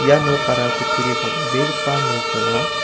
ia nokara kutturi bang·begipa nok ong·a.